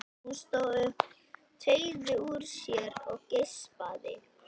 Hún stóð upp, teygði úr sér og geispaði.